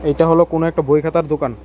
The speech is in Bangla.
এটা হলো কোনো একটা বই খাতার দোকান।